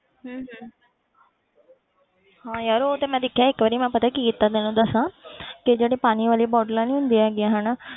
ਹਮ ਹਮ ਹਾਂ ਯਾਰ ਉਹ ਤਾਂ ਮੈਂ ਦੇਖਿਆ ਇੱਕ ਵਾਰੀ ਮੈਂ ਪਤਾ ਕੀ ਕੀਤਾ ਤੈਨੂੰ ਦੱਸਾਂ ਕਿ ਜਿਹੜੇ ਪਾਣੀ ਵਾਲੀਆਂ bottles ਨੀ ਹੁੰਦੀਆਂ ਹੈਗੀਆਂ ਹਨਾ